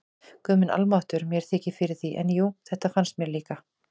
Guð minn almáttugur, mér þykir fyrir því, en jú, þetta fannst mér líka